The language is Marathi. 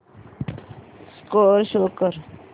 स्कोअर शो कर